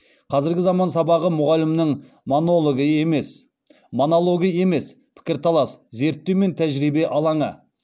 қазіргі заман сабағы мұғалімнің монологы емес пікірталас зерттеу мен тәжірибе алаңы